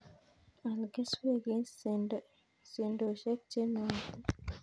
Aal keswek eng' sendoshek che nootin